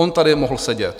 On tady mohl sedět.